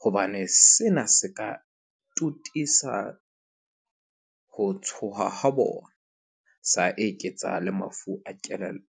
hobane sena se ka totisa ho tshoha ha bona sa eketsa le mafu a kelello.